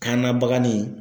Kanna bagani.